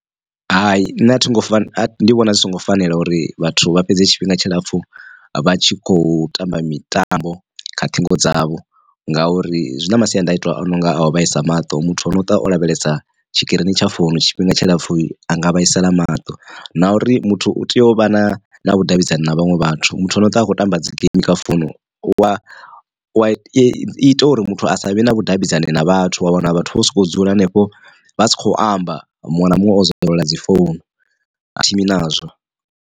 Hai nṋe a thi ngo fanela ndi vhona zwi songo fanela uri vhathu vha fhedze tshifhinga tshilapfhu vha tshi kho tamba mitambo kha ṱhingo dzavho ngauri zwi na masiandaitwa a nonga a u vhaisa maṱo muthu ano ṱwa o lavhelesa sikirini tsha founu tshifhinga tshilapfu anga vhaisala maṱo. Na uri muthu u tea u vha na vhudavhidzani na vhaṅwe vhathu muthu ano twa a khou tamba dzi game kha founu u a i ita uri muthu asavhe na vhudavhidzani na vhathu wa wana vhathu vho sokou dzula henefho vha si khou amba muṅwe na muṅwe o zondolola dzi founu a thiimi nazwo.